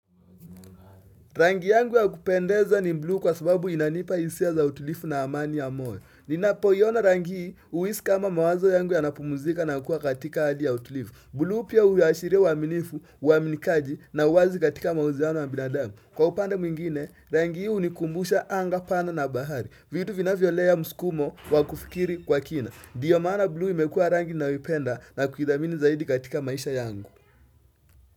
Rangi yangu ya kupendeza ni blue kwa sababu inanipa isia za utulifu na amani ya moyo. Ninapoiona rangi uisi kama mawazo yangu ya napumuzika na kuwa katika hali ya utulifu. Blue pia uashiria uaminifu, uaminikaji na uwazi katika mauziano wa binadamu. Kwa upande mwingine, rangi hii unikumbusha anga pana na bahari. Vitu vinavyo lea muskumo wa kufikiri kwa kina. Ndiyo maana blue imekuwa rangi ninayoipenda na kuidhamini zaidi katika maisha yangu.